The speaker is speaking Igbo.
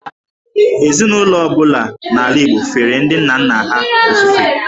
Ezinụlọ ọ bụla n’ala Igbo fere ndị nna nna ha ofufe.